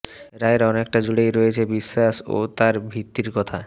রায়ের অনেকটা জুড়েই রয়েছে বিশ্বাস ও তার ভিত্তির কথা